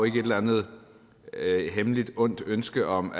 ikke et eller andet hemmeligt ondt ønske om